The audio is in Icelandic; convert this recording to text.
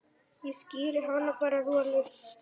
Ég skíri hann bara Rolu.